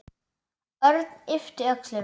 Örn yppti öxlum.